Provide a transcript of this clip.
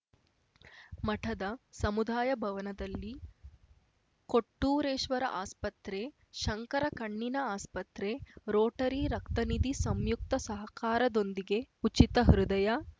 ಮಠದ ಸಮುದಾಯ ಭವನದಲ್ಲಿ ಕೊಟ್ಟೂರೇಶ್ವರ ಆಸ್ಪತ್ರೆ ಶಂಕರ ಕಣ್ಣಿನ ಆಸ್ಪತ್ರೆ ರೋಟರಿ ರಕ್ತನಿಧಿ ಸಂಯುಕ್ತ ಸಹಕಾರದೊಂದಿಗೆ ಉಚಿತ ಹೃದಯ